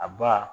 A ba